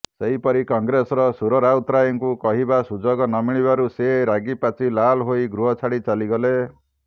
ସେହିପରି କଂଗ୍ରେସର ସୁର ରାଉତରାୟଙ୍କୁ କହିବାର ସୁଯୋଗ ନମିଳିବାରୁ ସେ ରାଗିପାଚି ଲାଲ୍ ହୋଇ ଗୃହ ଛାଡ଼ି ଚାଲଗଲେ